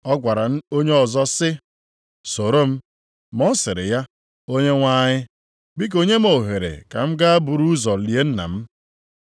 Ọ gwara onye ọzọ sị, “Soro m.” Ma ọ sịrị ya. Onyenwe anyị, “Biko, nye m ohere ka m gaa buru ụzọ lie nna m.”